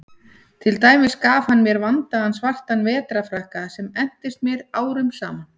Til dæmis gaf hann mér vandaðan svartan vetrarfrakka sem entist mér árum saman.